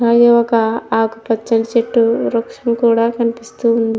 అది ఒక ఆకుపచ్చని చెట్టు వృక్షము కూడా కనిపిస్తూ ఉంది.